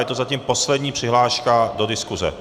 Je to zatím poslední přihláška do diskuse.